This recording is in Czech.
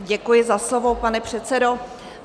Děkuji za slovo, pane předsedo.